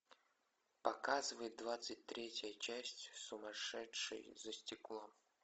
показывай двадцать третья часть сумасшедший за стеклом